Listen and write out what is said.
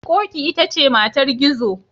Ƙoƙi ita ce matar Gizo.